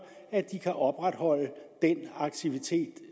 at de kan opretholde den aktivitet